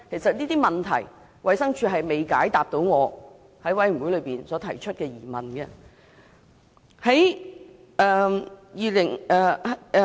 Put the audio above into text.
就這些問題，衞生署並未解答我在法案委員會提出的疑問。